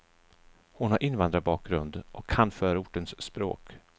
Hon har invandrarbakgrund och kan förortens språk.